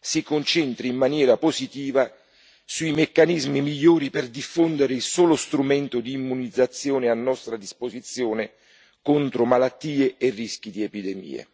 si concentri in maniera positiva sui meccanismi migliori per diffondere il solo strumento di immunizzazione a nostra disposizione contro malattie e rischi di epidemie.